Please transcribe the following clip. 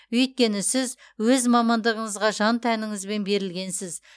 өйткені сіз өз мамандығыңызға жан тәніңізбен берілгенсіз